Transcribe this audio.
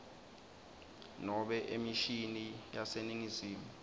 nobe emishini yaseningizimu